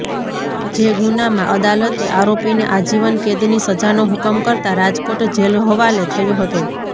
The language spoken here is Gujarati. જે ગુનામાં અદાલતે આરોપીને આજીવન કેદની સજાનો હુકમ કરતાં રાજકોટ જેલહવાલે થયો હતો